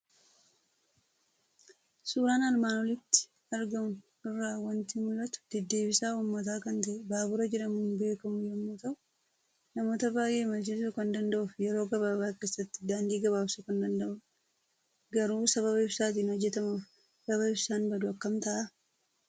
Suuraa armaan olitti argamu irraa waanti mul'atu; deddeebisaa uummataa kan ta'e Baabura jedhamuun beekamu yommuu ta'u, namoota baay'ee imalchisuu kan danda'ufi yeroo gababa keessatti daandii gabaabsu kan danda'udha. Garuu sababa ibsatiin hojjettmuuf gaafa ibsaan badu akkam ta'aa?